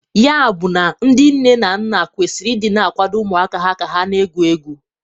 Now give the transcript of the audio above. Ya bụ na ndị nne na nna kwesiri ị dị na akwado ụmụaka ha ka ha na-egwu egwu.